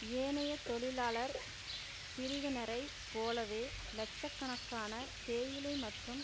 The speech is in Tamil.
ஏனைய தொழிலாளர் பிரிவினரைப் போலவே இலட்ச கணக்கான தேயிலை மற்றும்